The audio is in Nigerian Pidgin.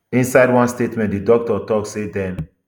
inside one statement di doctors tok say dem